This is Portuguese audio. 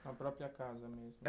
Na própria casa mesmo.